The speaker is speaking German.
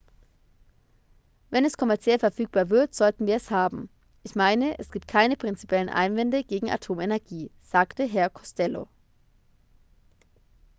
"""wenn es kommerziell verfügbar wird sollten wir es haben. ich meine es gibt keine prinzipiellen einwände gegen atomenergie" sagte herr costello.